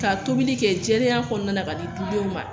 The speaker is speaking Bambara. Ka tobili kɛ jɛlenya kɔnɔna na ka di denw ma